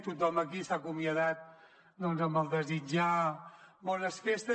tothom aquí s’ha acomiadat amb el desitjar bones festes